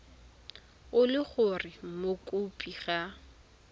e le gore mokopi ga